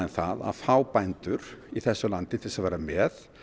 að fá bændur í þessu landi til þess að vera með